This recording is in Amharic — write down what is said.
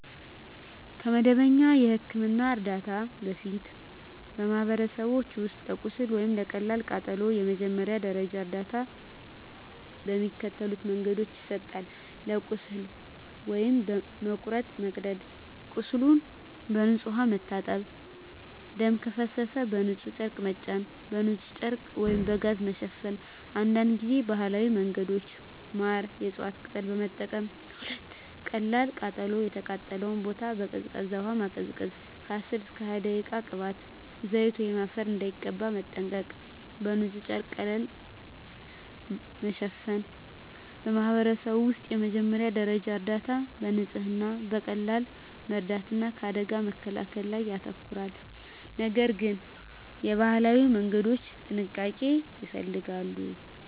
ከመደበኛ የሕክምና እርዳታ በፊት፣ በማኅበረሰቦች ውስጥ ለቁስል ወይም ለቀላል ቃጠሎ የመጀመሪያ ደረጃ እርዳታ በሚከተሉት መንገዶች ይሰጣል፦ ለቁስል (መቁረጥ፣ መቀደድ) ቁስሉን በንጹሕ ውሃ መታጠብ ደም ከፈሰሰ በንጹሕ ጨርቅ መጫን በንጹሕ ጨርቅ/ጋዝ መሸፈን አንዳንድ ጊዜ ባህላዊ መንገዶች (ማር፣ የእፅዋት ቅጠል) መጠቀም 2. ለቀላል ቃጠሎ የተቃጠለውን ቦታ በቀዝቃዛ ውሃ ማቀዝቀዝ (10–20 ደቂቃ) ቅባት፣ ዘይት ወይም አፈር እንዳይቀባ መጠንቀቅ በንጹሕ ጨርቅ ቀለል ማሸፈን በማኅበረሰብ ውስጥ የመጀመሪያ ደረጃ እርዳታ በንጽህና፣ በቀላል መርዳት እና ከአደጋ መከላከል ላይ ያተኮራል፤ ነገር ግን የባህላዊ መንገዶች ጥንቃቄ ይፈልጋሉ።